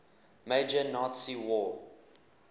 major nazi war